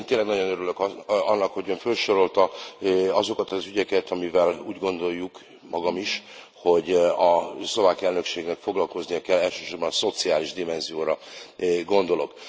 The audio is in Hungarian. Én tényleg nagyon örülök annak, hogy Ön fölsorolta azokat az ügyeket, amivel úgy gondoljuk, magam is, hogy a szlovák elnökségnek foglalkoznia kell, elsősorban szociális dimenzióra gondolok.